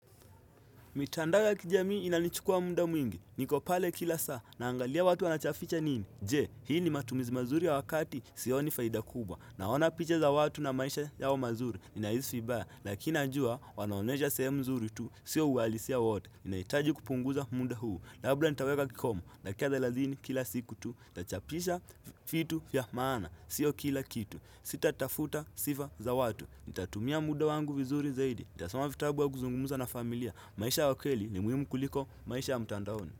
Mitandao ya kijami inanichukua muda mwingi, niko pale kila saa, naangalia watu wanatafuta nini, je, hii ni matumizi mazuri ya wakati, sio ni faida kubwa, naona picha za watu na maisha yao mazuri, ninahisi vibaya, lakina najua, wanaonesha sehemu mzuri tu, sio uhalisia wote, inaitaji kupunguza muda huu, labda nitaweka kikomo, dakika thelathini kila siku tu, nitachapisha vitu vya maana, sio kila kitu, sitatafuta sifa za watu, nitatumia muda wangu vizuri zaidi, nitasoma vitabu wa kuzungumza na familia, maisha aa kweli ni muhimu kuliko. Maisha ya mtandaoni.